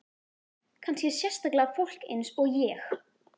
Kannski sérstaklega fólk eins og ég.